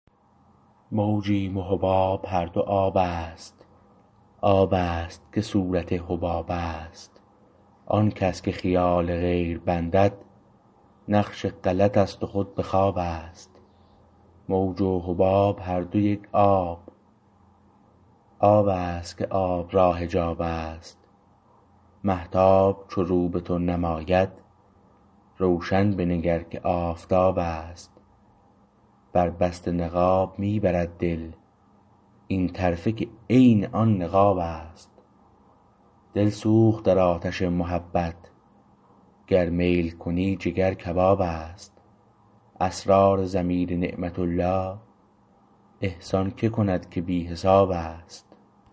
موجیم و حباب هر دو آبست آبست که صورت حبابست آن کس که خیال غیر بندد نقش غلطست و خود به خوابست موجست و حباب هر دو یک آب آبست که آب را حجابست مهتاب چو رو به تو نماید روشن بنگر که آفتابست بر بسته نقاب می برد دل این طرفه که عین آن نقابست دلسوخت در آتش محبت گر میل کنی جگر کبابست اسرار ضمیر نعمت الله احسان که کند که بی حسابست